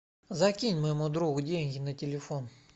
закинь моему другу деньги на телефон